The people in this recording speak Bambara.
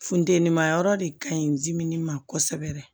Funteni ma yɔrɔ de kaɲi ni ma kosɛbɛ